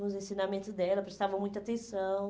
Os ensinamentos dela prestavam muita atenção.